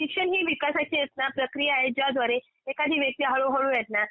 शिक्षण ही विकासाची एक ना प्रक्रिया आहे, ज्याद्वारे एखादी व्यक्ती हळू हळू ए ना